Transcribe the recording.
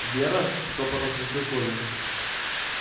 вера шёпотом спросил коля